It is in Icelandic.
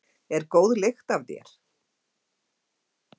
Er góð lykt af þér?